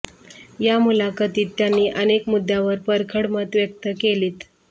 या मुलाखतीत त्यांनी अनेक मुद्द्यांवर परखड मतं व्यक्त केलीत